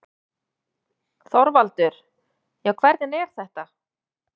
ÞORVALDUR: Já, hvernig er þetta.